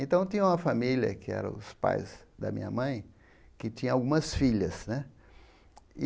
Então, tinha uma família, que era os pais da minha mãe, que tinha algumas filhas, né?